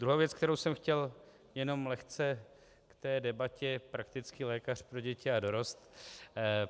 Druhá věc, kterou jsem chtěl jenom lehce k té debatě praktický lékař pro děti a dorost.